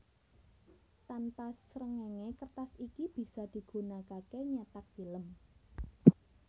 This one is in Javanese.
Tanpa srengenge kertas iki bisa digunakake nyetak film